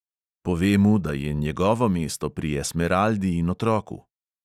Pove mu, da je njegovo mesto pri esmeraldi in otroku.